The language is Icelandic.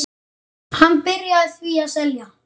Hann byrjaði því að selja.